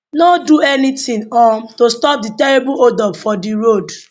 no do anytin um to stop di terrible hold up for di road